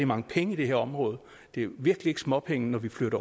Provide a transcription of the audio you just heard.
mange penge i det her område det er virkelig ikke småpenge når vi flytter